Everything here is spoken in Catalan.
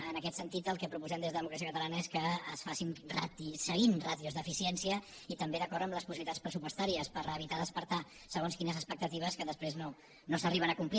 en aquest sentit el que proposem des de democràcia catalana és que es faci seguint ràtios d’eficiència i també d’acord amb les possibilitats pressupostàries per evitar despertar segons quines expectatives que després no s’arriben a complir